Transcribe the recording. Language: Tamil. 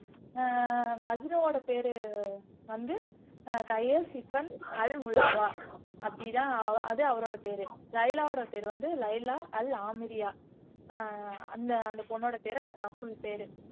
ஆஹ் மஜ்னுவோட பேரு வந்து ஆஹ் கயல் சிஃபன் அல்முலாவா அப்படிதான் அது அவரோட பேரு லைலாவோட பேரு வந்து லைலா அல் ஆமிரியா ஆஹ் அந்த அந்த பொண்ணோட பேரு அதான் ஃபுல் பேரு